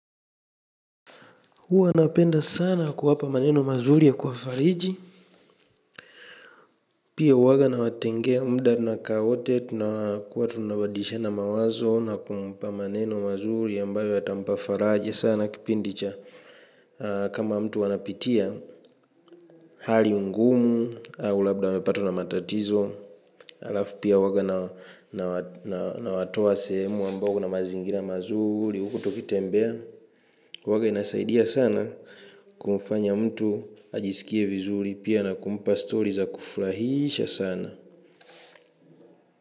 Hua napenda sana kuwapa maneno mazuri ya kwa fariji. Pia huwaga na watengea mda na kaa wote tunakua tunabadishana mawazo na kumpa maneno mazuri ambayo atampafaraja sana kipindi cha. Kama mtu anapitia hali ngumu au labda amepatwa na matatizo. Alafu pia huwaga na watoa sehemu ambago na mazingira mazuri huku tukitembea. Waga inasaidia sana kumfanya mtu ajiskie vizuri na pia inampa story za kufuraisha sana.